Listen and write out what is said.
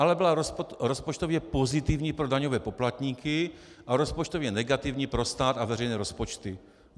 Ale byla rozpočtově pozitivní pro daňové poplatníky a rozpočtově negativní pro stát a veřejné rozpočty.